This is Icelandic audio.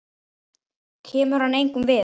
Kemur hann engum við?